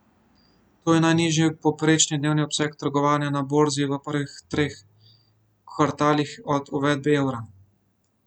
To je najnižji povprečni dnevni obseg trgovanja na borzi v prvih treh kvartalih od uvedbe evra.